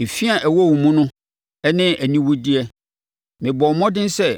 “ ‘Ɛfi a ɛwɔ wo mu no ne aniwudeyɛ. Mebɔɔ mmɔden sɛ